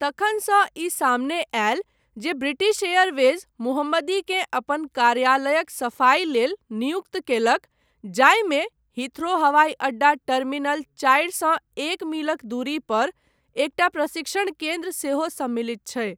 तखनसँ ई सामने आयल जे ब्रिटिश एयरवेज मोहम्मदीकेँ अपन कार्यालयक सफाई लेल नियुक्त कयलक जाहिमे हीथ्रो हवाई अड्डा टर्मिनल चारि सँ एक मीलक दूरी पर एकटा प्रशिक्षण केन्द्र सेहो सम्मिलित छै।